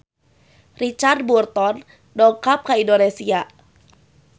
Richard Burton dongkap ka Indonesia